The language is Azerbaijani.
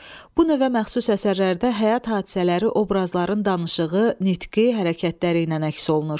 Bu növə məxsus əsərlərdə həyat hadisələri, obrazların danışığı, nitqi, hərəkətləri ilə əks olunur.